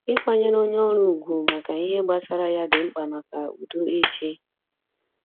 Ikwanyere onye ọrụ ugwu maka ihe gbasara ya di mkpa maka udo ịchị.